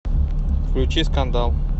включи скандал